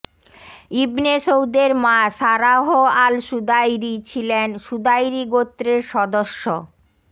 ইবনে সৌদের মা Sarah Al Sudairi ছিলেন সুদাইরি গোত্রের সদস্য